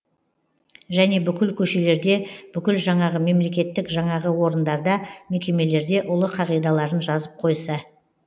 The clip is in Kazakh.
және бүкіл көшелерде бүкіл жаңағы мемлекеттік жаңағы орындарда мекемелерде ұлы қағидаларын жазып қойса